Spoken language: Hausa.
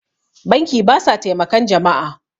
banki ba sa taimakan jama'a